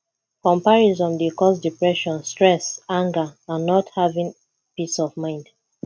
comparison dey cause depression stress anger and not having peace of mind